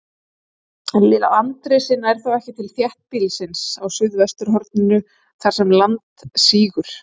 Landrisið nær þó ekki til þéttbýlisins á suðvesturhorninu, þar sem land sígur.